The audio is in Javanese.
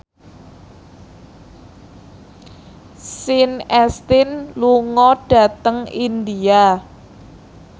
Sean Astin lunga dhateng India